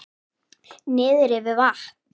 Niðri við vatn?